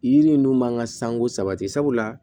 Yiri ninnu mankan sanko sabati sabula